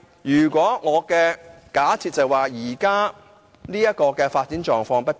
不過，我的假設是基於現時的發展狀況不變。